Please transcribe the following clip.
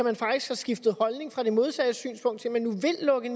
har faktisk skiftet holdning fra det modsatte synspunkt til at man nu vil lukke